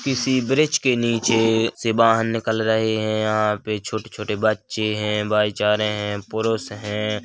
किसी ब्रिज के नीचे से बाहर निकल रहे है यहाँ पे छोटे -छोटे बच्चे है भाईचारे है पुरुष हैं।